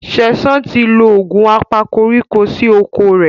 Sesan tí lọ Òògùn apakoríko sí okọ̀ rẹ.